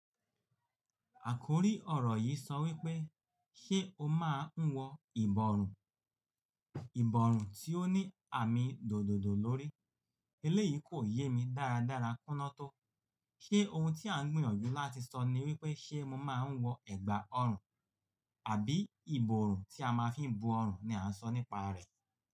Àkórí ọ̀rọ̀ yìí sọ wípé, ṣé o máa ń wọ ìbọrùn? Ìbọrùn tí ó ní àmì dòdòdòo lórií. Eléyìí kò yé mi dáadára kúná tó. Ṣé ohun tí à ń gbìyànjú láti sọ ni wípé ṣé mo máa ń wọ ẹ̀gbà ọrùn àbí ìbọrùn tí a máa fi ń bo ọrùn ni à ń sọ nípa rẹ̀?